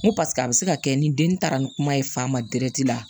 N ko paseke a bɛ se ka kɛ ni den taara ni kuma ye fa ma dɛrɛ la